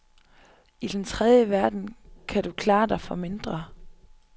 I den tredje verden kan du klare dig for mindre.